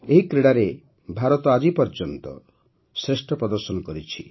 ଏହି କ୍ରୀଡ଼ାରେ ଭାରତ ଆଜି ପର୍ଯ୍ୟନ୍ତର ଶ୍ରେଷ୍ଠ ପ୍ରଦର୍ଶନ କରିଛି